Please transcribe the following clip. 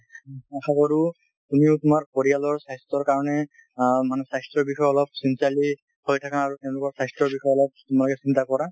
আশা কৰোঁ তুমিও তোমাৰ পৰিয়ালৰ স্বাস্থ্যৰ কাৰণে অ মানে স্বাস্থ্যৰ বিষয়ে অলপ sincerely হৈ থাকা আৰু তেওঁলোকৰ স্বাস্থ্যৰ বিষয়ে অলপ তোমালোকে চিন্তা কৰা।